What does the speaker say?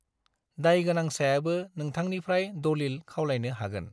दाइगोनांसायाबो नोंथांनिफ्राय दलिल खावलायनो हागोन।